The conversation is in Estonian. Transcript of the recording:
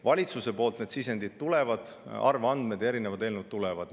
Valitsuselt need sisendid, arvandmed ja erinevad eelnõud tulevad.